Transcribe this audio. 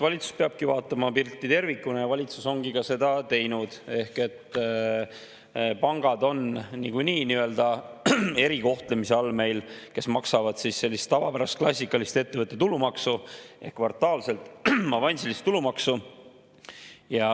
Valitsus peabki vaatama pilti tervikuna ja valitsus ongi seda teinud ehk pangad on niikuinii meil nii-öelda erikohtlemise all, nad maksavad sellist tavapärast klassikalist ettevõtte tulumaksu ehk kvartaalset avansilist tulumaksu.